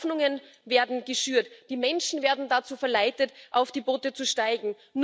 Hoffnungen werden geschürt, die Menschen werden dazu verleitet, auf die Boote zu steigen.